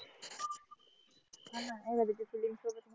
अस